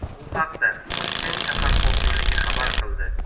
Bu haqda Toshkent shahar hokimligi xabar qildi .